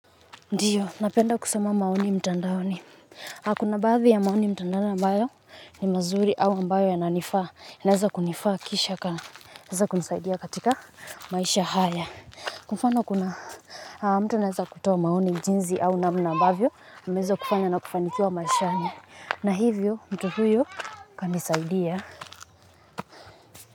Ndiyo, napenda kusoma maoni mtandaoni. Na kuna baadhi ya maoni mtandaoni ambayo ni mazuri au ambayo yananifaa. Inaeza kunifaa kisha ka. Inaeza kunisaidia katika maisha haya. Kwa mfano fana mtu anaeza kutoa maoni jinsi au namna ambavyo. Unaeza kufanya na ukafanikiwa maishani na hivyo mtu huyu kanisaidia.